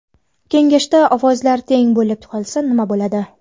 Kengashda ovozlar teng bo‘lib qolsa nma bo‘ladi?